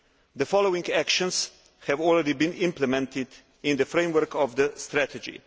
The following actions have already been implemented in the framework of the strategy.